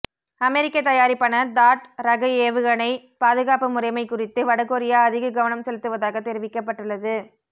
அமெரிக்க தயாரிப்பான தாட் ரக ஏவுகணை பாதுகாப்பு முறைமை குறித்து வடகொரியா அதிக கவனம் செலுத்துவதாக தெரிவிக்கப்பட்டுள்ளது